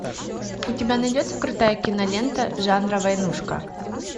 у тебя найдется крутая кинолента жанра войнушка